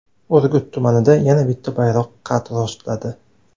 Urgut tumanida yana bitta bayroq qad rostladi.